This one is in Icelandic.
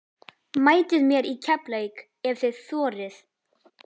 Mætið mér í Keflavík ef þið þorið!